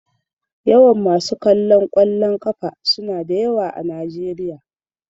Yawan masu kallon kwallon kafa suna da yawa a Najeriya.